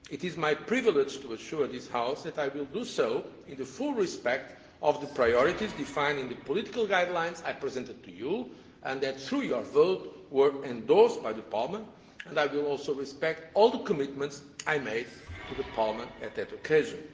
It is my privilege to assure this House that I will do so in the full respect of the priorities defined in the political guidelines that I presented to you and that through your vote were endorsed by Parliament, and I will also respect all the commitments I made to Parliament on that occasion.